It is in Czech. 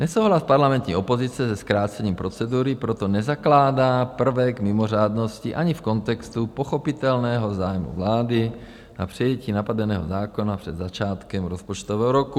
Nesouhlas parlamentní opozice se zkrácením procedury proto nezakládá prvek mimořádnosti ani v kontextu pochopitelného zájmu vlády na přijetí napadeného zákona před začátkem rozpočtového roku.